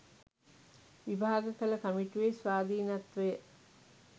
විභාග කළ කමිටුවේ ස්වාධීනත්වය